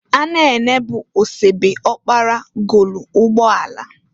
Anene bụ osebe ọkpara golu ụgbọ ala.